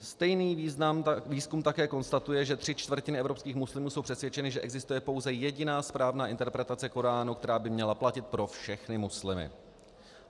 Stejný výzkum také konstatuje, že tři čtvrtiny evropských muslimů jsou přesvědčeny, že existuje pouze jediná správná interpretace koránu, která by měla platit pro všechny muslimy.